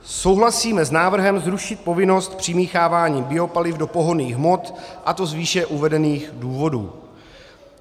Souhlasíme s návrhem zrušit povinnost přimíchávání biopaliv do pohonných hmot, a to z výše uvedených důvodů.